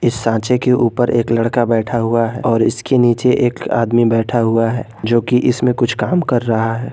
इस सांचे के ऊपर एक लड़का बैठा हुआ है और उसके नीचे एक आदमी बैठा हुआ है जो कि इसमें कुछ काम कर रहा है।